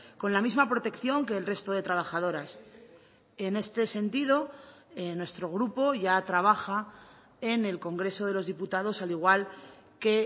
con la misma protección que el resto de trabajadoras en este sentido nuestro grupo ya trabaja en el congreso de los diputados al igual que